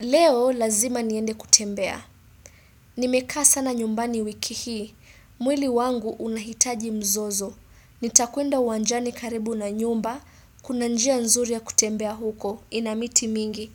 Leo lazima niende kutembea, nimekaa sana nyumbani wiki hii, mwili wangu unahitaji mzozo, nitakwenda uwanjani karibu na nyumba, kuna njia nzuri ya kutembea huko, ina miti mingi,